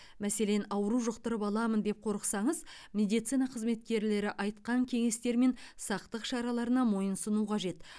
мәселен ауру жұқтырып аламын деп қорықсаңыз медицина қызметкерлері айтқан кеңестер мен сақтық шараларына мойынсыну қажет